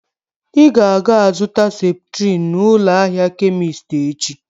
Ị ga aga-azụta Septrin n'ụlọ ahịa Kemist echi